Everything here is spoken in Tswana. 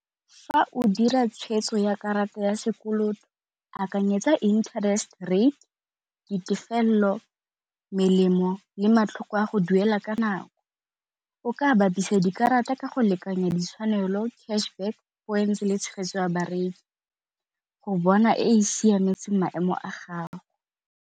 Fa o dira tshwetso ya karata ya sekoloto akanyetsa interest rate, ditefelelo, melemo le matlhoko a go duela ka nako. O ka bapisa dikarata ka go lekanya ditshwanelo, cash back points le tshegetso ya bareki go bona e e siametseng maemo a gago.